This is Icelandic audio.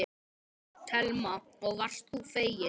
Telma: Og varst þú feginn?